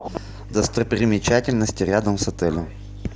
достопримечательности рядом с отелем